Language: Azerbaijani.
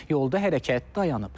Yolda hərəkət dayanıb.